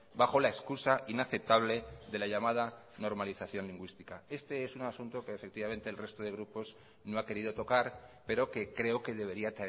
bajo la excusa inaceptable de la llamada normalización lingüística este es un asunto que efectivamente el resto de grupos no ha querido tocar pero que creo que debería